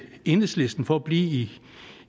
enhedslisten for at blive